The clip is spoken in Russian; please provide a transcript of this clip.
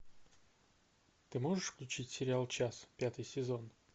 ты можешь включить сериал час пятый сезон